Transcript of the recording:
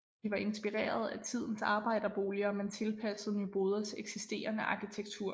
De var inspireret af tidens arbejderboliger men tilpasset Nyboders eksisterende arkitektur